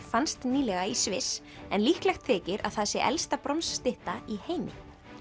fannst nýlega í Sviss en líklegt þykir að það sé elsta bronsstytta í heimi